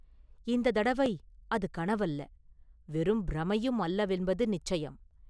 இந்தத் தடவை அது கனவல்ல, வெறும் பிரமையும் அல்லவென்பது நிச்சயம்.